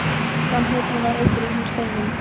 Framhleypni var eitur í hans beinum.